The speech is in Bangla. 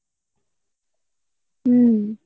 উম